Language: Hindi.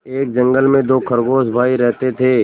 एक जंगल में दो खरगोश भाई रहते थे